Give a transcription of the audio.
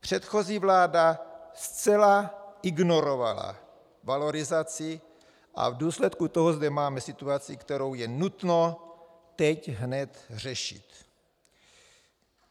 Předchozí vláda zcela ignorovala valorizaci a v důsledku toho zde máme situaci, kterou je nutno teď hned řešit.